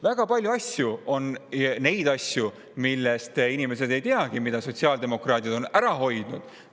Väga palju on neid asju, mille kohta inimesed ei teagi, et nende on sotsiaaldemokraadid ära hoidnud.